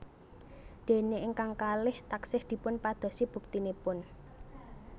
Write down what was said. Dene ingkang kalih taksih dipun padosi buktinipun